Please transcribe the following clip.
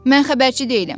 Mən xəbərçi deyiləm.